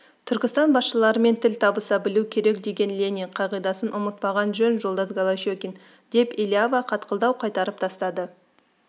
түркістан басшыларымен тіл табыса білу керек деген ленин қағидасын ұмытпаған жөн жолдас голощекин деп элиава қатқылдау қайтарып тастады